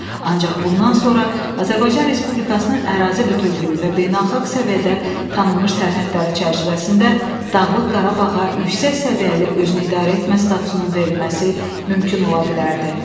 Ancaq bundan sonra Azərbaycan Respublikasının ərazi bütövlüyü və beynəlxalq səviyyədə tanınmış sərhədləri çərçivəsində Dağlıq Qarabağa yüksək səviyyəli özünüidarə etmə statusunun verilməsi mümkün ola bilərdi.